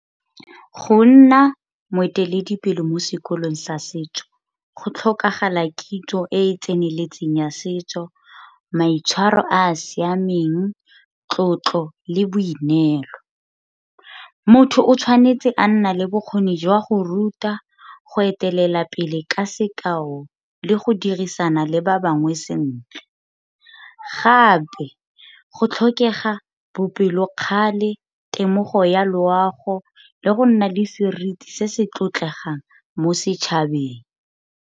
Go nna moeteledipele mo sekolong sa setso go tlhokagala kitso e e tseneletseng ya setso, maitshwaro a a siameng, tlotlo, le boineelo. Motho o tshwanetse a nna le bokgoni jwa go ruta go etelela pele ka sekao le go dirisana le ba bangwe sentle, gape go tlhokega bopelokgale, temogo ya loago, le go nna le seriti se se tlotlegang mo setšhabeng.